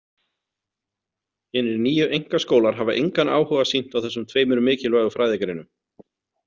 Hinir nýju „einkaskólar“ hafa engan áhuga sýnt á þessum tveimur mikilvægu fræðigreinum.